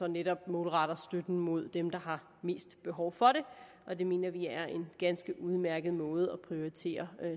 netop målretter støtten mod dem der har mest behov for det og det mener vi er en ganske udmærket måde at prioritere